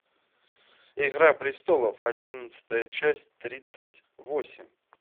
игра престолов одиннадцатая часть тридцать восемь